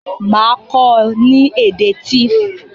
Màá kó o ni èdè Tiv